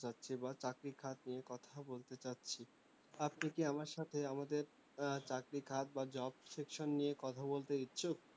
চাচ্ছি বা চাকরির খাত নিয়ে কথা বলতে চাচ্ছি আপনি কি আমার সাথে আমাদের উহ চারির খাত বা job section নিয়ে কথা বলতে ইচ্ছুক